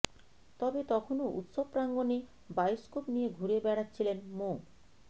তবে তখনও উৎসব প্রাঙ্গণে বায়োস্কোপ নিয়ে ঘুরে বেড়াচ্ছিলেন মো